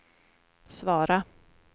svara